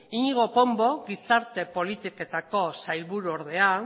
iñigo pombo gizarte politiketako sailburuordea